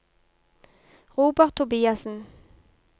Robert Tobiassen